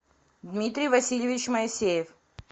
дмитрий васильевич моисеев